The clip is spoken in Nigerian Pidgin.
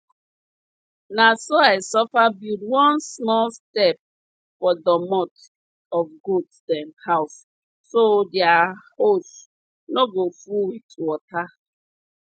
na so i suffer build one small step for doormot of goat dem house so their hose no go full with water